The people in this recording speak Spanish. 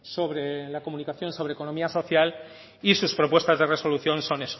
sobre la comunicación sobre la economía social y sus propuestas de resolución son